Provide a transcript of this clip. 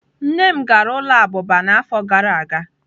Nne m gara ụlọ abụba n'afọ gara aga.